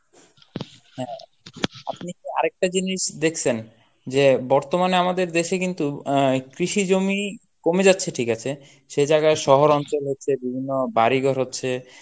হ্যাঁ আপনি কি আরেকটা জিনিস দেখছেন, যে বর্তমানে আমাদের দেশে কিন্তু আহ কৃষি জমি কমে যাচ্ছে ঠিক আছে সেই জায়গায় শহরাঞ্চল হচ্ছে বিভিন্ন বাড়ি-ঘর হচ্ছে